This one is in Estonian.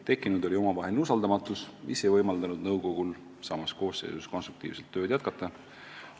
Tekkinud oli omavaheline usaldamatus, mis ei võimaldanud nõukogul samas koosseisus konstruktiivselt tööd jätkata.